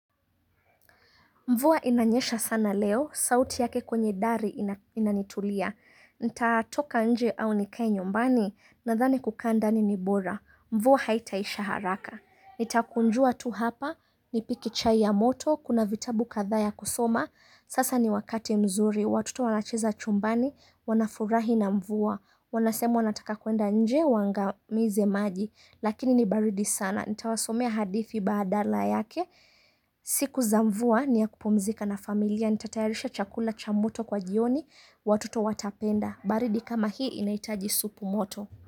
Mvua inanyesha sana leo, sauti yake kwenye dari inanitulia. Nitatoka nje au nikaye nyumbani? Nadhani kukaa nyumbani ni bora. Mvua haitaisha haraka. Nitakunjua tu hapa, nipike chai ya moto, kuna vitabu kadhaa ya kusoma. Sasa ni wakati mzuri, watoto wanacheza chumbani, wanafurahi na mvua. Wanasema wanataka kuenda nje wangamize maji, lakini ni baridi sana. Nitawasomea hadithi badala yake. Siku za mvua ni ya kupumzika na familia. Nitatayarisha chakula cha moto kwa jioni. Watoto watapenda. Baridi kama hii inaitaji supu moto.